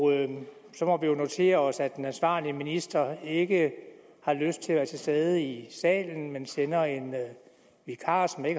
så må vi jo notere os at den ansvarlige minister ikke har lyst til at være til stede i salen men sender en vikar som jeg